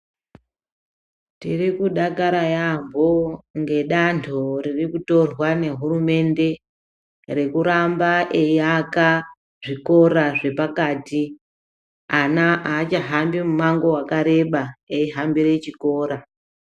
Tiri kudakara yambo ngedando riri kutorwa nehurumende rekuramba eiaka zvikora zvepakati ana achahambi mumango wakareba eihambira chikora.